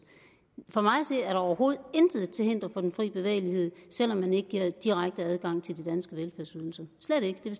for mig at se er der overhovedet intet til hinder for den fri bevægelighed selv om man ikke har direkte adgang til de danske velfærdsydelser slet ikke det